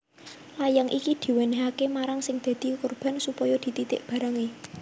Layang iki diwènèhaké marang sing dadi korban supaya dititik barangé